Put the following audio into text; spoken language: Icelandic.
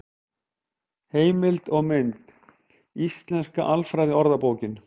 Heimild og mynd: Íslenska alfræðiorðabókin.